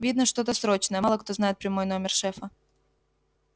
видно что-то срочное мало кто знает прямой номер шефа